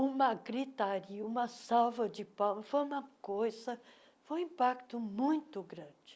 uma gritaria, uma salva de palmas, foi uma coisa, foi um impacto muito grande.